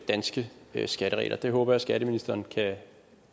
danske skatteregler det håber jeg skatteministeren kan